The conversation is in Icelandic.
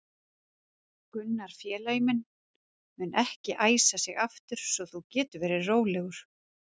Gunnar félagi minn mun ekki æsa sig aftur svo þú getur verið rólegur.